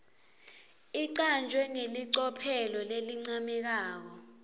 icanjwe ngelicophelo lelincomekako